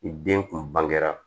I den kun bangera